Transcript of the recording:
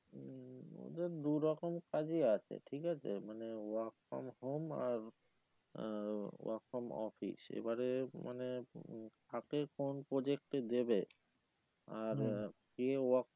ওদের দু রকম কাজই আছে ঠিক আছে মানে work from home আরআহ work from office এবারে মানে কাকে কোন project এ দেবে আর কে work